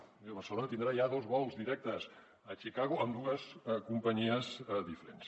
vull dir barcelona tindrà ja dos vols directes a chicago amb dues companyies diferents